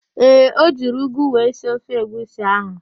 Ee, o jiri ụgụ wee sie ofe egwusi ahụ.